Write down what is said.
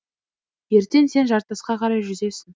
ертең сен жартасқа қарай жүзесің